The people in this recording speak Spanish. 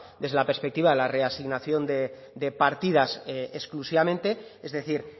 desde la perspectiva de la reasignación de partidas exclusivamente es decir